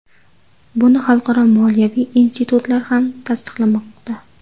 Buni xalqaro moliyaviy institutlar ham tasdiqlamoqda.